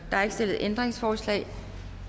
er ikke stillet ændringsforslag